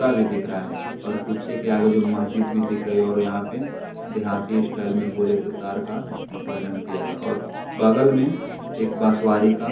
कुत्ता भी दिख रहा हैं और कुत्ते के आगे जो मस्जिद भी दिख रही है और यहां पे देहाती स्टाइल में बोले तो तार का वर्णन किया गया है और बगल में एक बांसवाड़ी का--